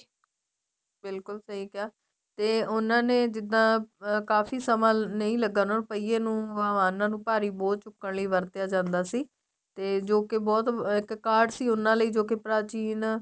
ਬਿਲਕੁਲ ਸਹੀ ਕਿਹਾ ਤੇ ਉਹਨਾ ਨੇ ਜਿੱਦਾਂ ਕਾਫੀ ਸਮਾਂ ਨਹੀਂ ਲੱਗਾ ਉਹਨਾ ਨੂੰ ਪਈਏ ਨੂੰ ਵਾਹਨਾਂ ਨੂੰ ਭਾਰੀ ਬੋਝ ਚੁੱਕਣ ਲਈ ਵਰਤਿਆ ਜਾਂਦਾ ਸੀ ਤੇ ਜੋਕੇ ਬਹੁਤ ਇੱਕ card ਸੀ ਉਹਨਾ ਲਈ ਜੋ ਕੀ ਪ੍ਰਾਚੀਨ